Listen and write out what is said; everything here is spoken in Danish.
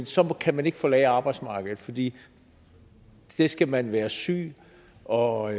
så kan man ikke forlade arbejdsmarkedet fordi det skal man være syg og